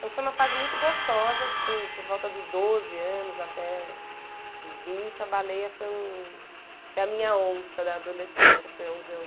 Então foi uma fase muito gostosa, assim, por volta dos doze anos até os vinte, a baleia foi um... foi a minha onça da adolescência, foi onde eu...